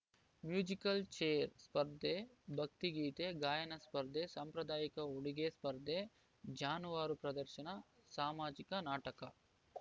musical chair ಸ್ಪರ್ಧೆ ಭಕ್ತಿ ಗೀತೆ ಗಾಯನ ಸ್ಪರ್ಧೆ ಸಾಂಪ್ರದಾಯಿಕ ಉಡುಗೆ ಸ್ಪರ್ಧೆ ಜಾನುವಾರು ಪ್ರದರ್ಶನಸಾಮಾಜಿಕ ನಾಟಕ